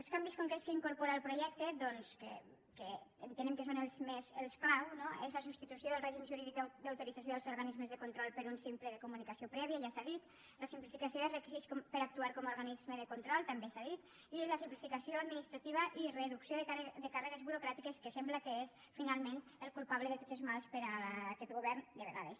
els canvis concrets que incorpora el projecte que entenem que són els clau no són la substitució del règim jurídic d’autorització dels organismes de control per un de simple de comunicació prèvia ja s’ha dit la simplificació dels requisits per actuar com a organisme de control també s’ha dit i la simplificació administrativa i reducció de càrregues burocràtiques que sembla que és finalment el culpable de tots els mals per aquest govern de vegades